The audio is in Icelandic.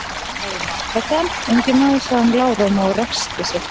Hafðu mig afsakaðan, ungi maður, sagði hann lágróma og ræskti sig.